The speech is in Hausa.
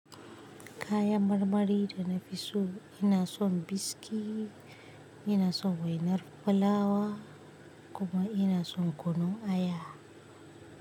Kayan marmari da na fi so, ina son biski, ina son wainar fulawa kuma ina son kunun aya.